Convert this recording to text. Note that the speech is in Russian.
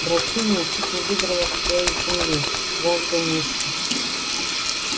драчунья чуть не выдрала себя из земли жаждя мести